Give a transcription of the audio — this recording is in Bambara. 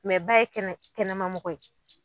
ba ye kɛnɛ kɛnɛma mɔgɔ ye